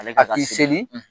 Ale ka ka A ki seli;